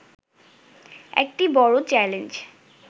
একটি বড় চ্যালেঞ্জ